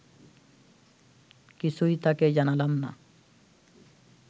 কিছুই তাকে জানালাম না